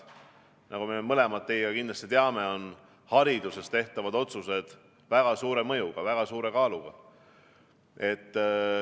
Nagu me mõlemad teiega kindlasti teame, on hariduses tehtavad otsused väga suure mõjuga, väga suure kaaluga.